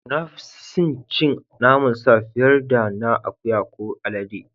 Na fi sin cin naman sa fiyar da na akuya ko alade.